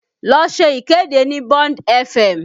Lọ ṣe ìkéde ní Bond fm!